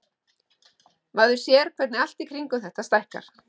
Maður sér hvernig allt í kringum þetta stækkar.